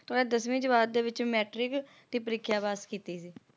ਦਸਵੀਂ ਜਮਾਤ ਤੇ ਵਿੱਚ ਮੈਟ੍ਰਿਕ ਦੀ ਪ੍ਰੀਖਿਆ ਪਾਸ ਕੀਤੀ ਸੀ